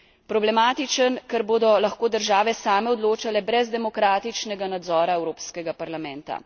Problematičen, ker bodo lahko države same odločale brez demokratičnega nadzora Evropskega parlamenta.